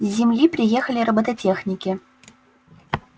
с земли приехали роботехники